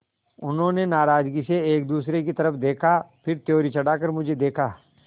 उन्होंने नाराज़गी से एक दूसरे की तरफ़ देखा फिर त्योरी चढ़ाकर मुझे देखा